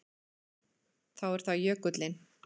Þá er það jökullinn.